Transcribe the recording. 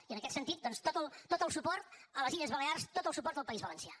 i en aquest sentit doncs tot el suport a les illes balears tot el suport al país valencià